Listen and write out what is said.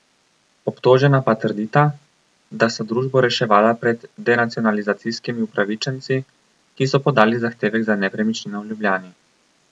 Obtožena pa trdita, da sta družbo reševala pred denacionalizacijskimi upravičenci, ki so podali zahtevek za nepremičnino v Ljubljani.